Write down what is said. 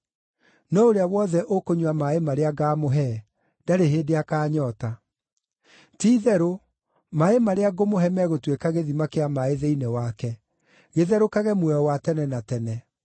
no ũrĩa wothe ũkũnyua maaĩ marĩa ngaamũhe ndarĩ hĩndĩ akaanyoota. Ti-itherũ, maaĩ marĩa ngũmũhe megũtuĩka gĩthima kĩa maaĩ thĩinĩ wake, gĩtherũkage muoyo wa tene na tene.”